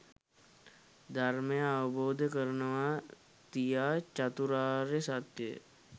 ධර්මය අවබෝධ කරනවා තියා චතුරාර්ය සත්‍යය